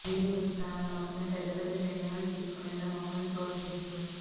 మీరు ఉంచిన ఆ నమ్మకమే పెద్ద పెద్ద నిర్ణయాలు తీసుకునేలా మమ్మల్ని ప్రోత్సహిస్తోంది